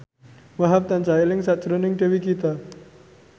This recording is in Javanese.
Wahhab tansah eling sakjroning Dewi Gita